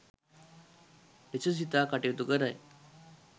ලෙස සිතා කටයුතු කරයි.